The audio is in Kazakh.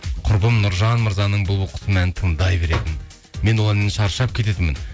құрбым нұржан мырзаның бұлбұл құсым әнін тыңдай беретін мен ол әннен шаршап кететінмін